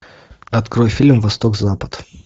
открой фильм восток запад